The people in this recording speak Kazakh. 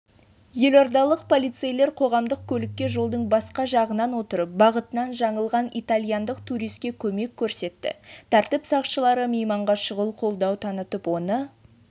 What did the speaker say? елордалық полицейлер қоғамдық көлікке жолдың басқа жағынан отырып бағытынан жаңылған италияндық туриске көмек көрсетті тәртіп сақшылары мейманға шұғыл қолдау танытып оны